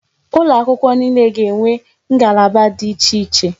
Ụlọ akwụkwọ niile ga-enwe isi ngalaba dị iche iche.